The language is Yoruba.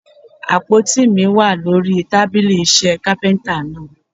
Àpótí mi wà lórí tábílì iṣẹ́ Kápẹ́ńtà náà.